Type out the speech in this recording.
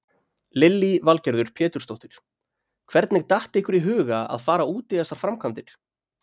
Lillý Valgerður Pétursdóttir: Hvernig datt ykkur í huga að fara út í þessar framkvæmdir?